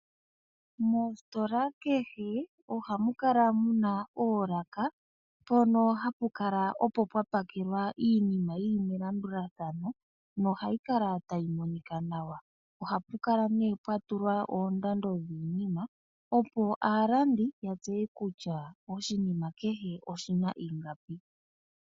Moositola kehe oha mu kala mu na oolaka, mpono hapu kala opo pwa pakelwa iinima yi li melandulathano na ohayi kala tayi monika nawa. Ohapu kala nee pwa tulwa oondando dhiinima opo aalandi yatseye kutya oshinima kehe oshi na ingapi.